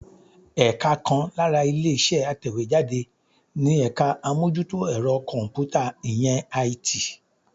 Ẹ̀ka kan lára ilé-iṣẹ́ atẹ̀wéjáde ni ẹ̀ka àmójútó ẹ̀rọ kọ̀m̀pútà, ìyẹn IT.